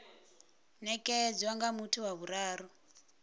nekedzwa nga muthu wa vhuraru